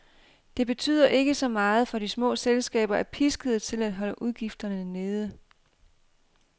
Det betyder ikke så meget, for de små selskaber er piskede til at holde udgifterne nede.